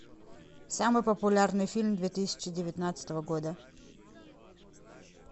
самый популярный фильм две тысячи девятнадцатого года